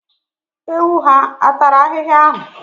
Ewu ha a tara ahịhịa ahụ?